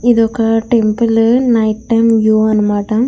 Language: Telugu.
ఇదొక టెంపుల్ నైట్ టైమ్ వ్యూ అనమాట.